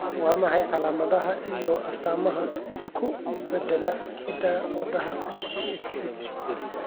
Waa maxay calaamadaha iyo astaamaha isku-beddellada hidda-wadaha MTHFR?